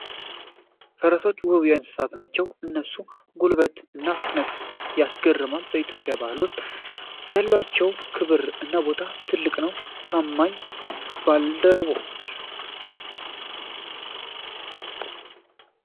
ፈረሶች ውብ እንስሳት ናቸው! የእነሱ ጉልበት እና ፍጥነት ያስገርማል። በኢትዮጵያ ባህል ውስጥ ያላቸው ክብር እና ቦታ ትልቅ ነው። ታማኝ ባልደረባዎች!